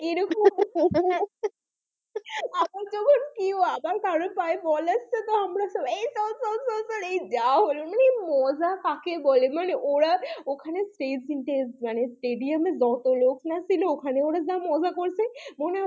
কেউ আবার কারো পায়ে বল আসছে তো আমরা সবাই এই চল, চল, চল, চল এই যাহ হলো না এই মজা কাকে বলে মানে ওরা ওখানে মানে stadium এ যত লোক না ছিল ওখানে ওরা যা মজা করেছে মনে হয়,